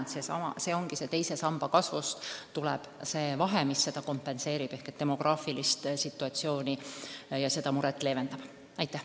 Ja seda kompenseeribki teise samba kasv, mis leevendab demograafilisest situatsioonist tulenevat muret.